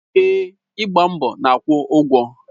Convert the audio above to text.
Èè, ịgba mbọ na-akwụ ụgwọ.